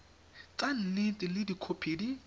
tsa nnete le dikhopi di